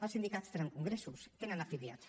els sindicats tenen congressos i tenen afiliats